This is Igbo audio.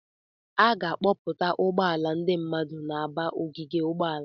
A ga-akpọpụta ụgbọala ndị mmadụ na-aba n'ogige ụgbọala.